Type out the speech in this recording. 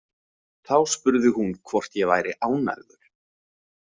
Þá spurði hún hvort ég væri ánægður.